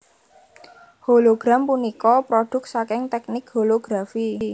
Hologram punika prodhuk saking teknik holografi